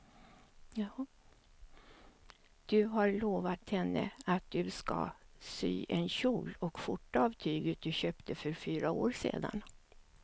Du har lovat henne att du ska sy en kjol och skjorta av tyget du köpte för fyra år sedan.